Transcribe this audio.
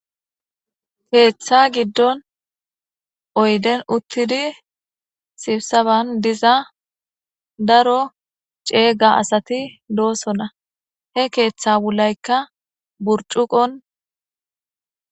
keeththa giddon oyden uttidi sibsaban diza daro ceega asati doosona he keeththa wulaykka burcuqon